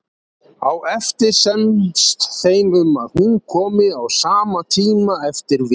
Á eftir semst þeim um að hún komi á sama tíma eftir viku.